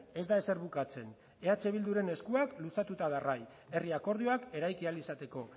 ez da ezer bukatzen eh bilduren eskuak luzatuta darrai herri akordioak eraiki ahal izateko